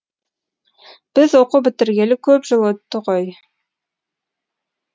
біз оқу бітіргелі көп жыл өтті ғой